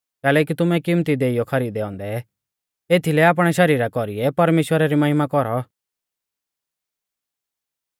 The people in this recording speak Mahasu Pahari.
कैलैकि तुमै किमत्ती देइऔ ई खरीदै औन्दै एथीलै आपणै शरीरा कौरीऐ परमेश्‍वरा री महिमा कौरौ